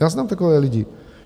Já znám takové lidi.